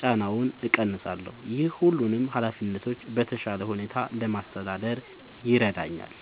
ጫናውን እቀንሳለሁ። ይህ ሁሉንም ኃላፊነቶች በተሻለ ሁኔታ ለማስተዳደር ይረዳኛል።